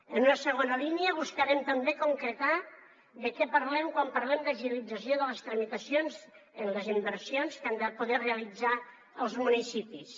en una segona línia buscarem també concretar de què parlem quan parlem de agilització de les tramitacions en les inversions que han de poder realitzar els municipis